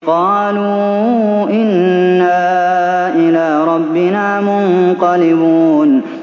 قَالُوا إِنَّا إِلَىٰ رَبِّنَا مُنقَلِبُونَ